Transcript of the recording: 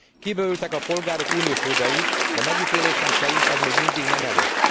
Kibővültek a polgárok uniós jogai, de megítélésem szerint ez még mindig nem elég.